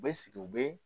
U bɛ sigi u bɛ